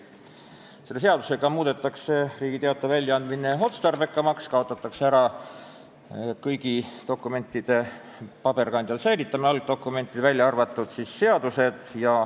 Selle seadusega muudetakse Riigi Teataja väljaandmine otstarbekamaks, kaotatakse ära kõigi algdokumentide paberkandjal säilitamise nõue.